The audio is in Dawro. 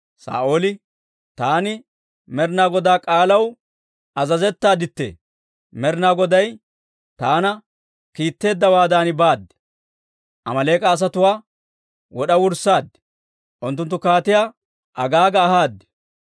Saa'ooli, «Taani Med'inaa Godaa k'aalaw azazettaaddi! Med'inaa Goday taana kiitteeddawaadan baad; Amaaleek'a asatuwaa wod'a wurssaad; unttunttu Kaatiyaa Agaaga ahaad.